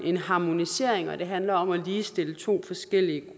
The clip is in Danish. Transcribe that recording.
en harmonisering og siger at det handler om at ligestille to forskellige